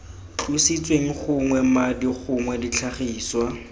tlositsweng gognwe madi gongwe ditlhagiswa